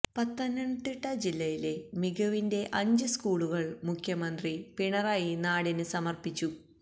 പത്തനംതിട്ട ജില്ലയിലെ മികവിന്റെ അഞ്ച് സ്കൂളുകള് മുഖ്യമന്ത്രി പിണറായി നാടിന് സമര്പ്പിച്ചു